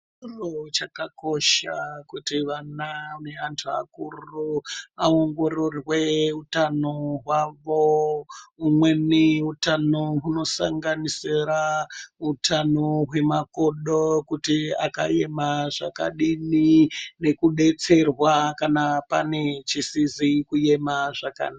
Chikora chakakosha kuti vana ne antu akuru awongororwe hutano hwavo humweni hutano huno sanganisira utano hwe makodo kuti akayema zvakadini neku betserwa kana pane chisizi kuema zvakanaka.